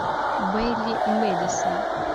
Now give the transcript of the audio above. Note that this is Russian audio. бэйли мэдисон